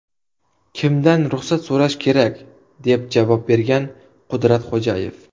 Kimdan ruxsat so‘rash kerak?”, deb javob bergan Qudratxo‘jayev.